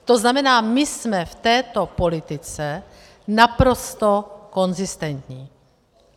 To znamená, my jsme v této politice naprosto konzistentní.